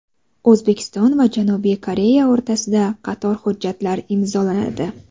O‘zbekiston va Janubiy Koreya o‘rtasida qator hujjatlar imzolanadi.